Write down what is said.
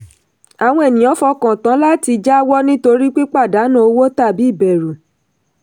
àwọn ènìyàn fọkàn tán láti jáwọ́ nítorí pípadànù owó tàbí ìbẹ̀rù.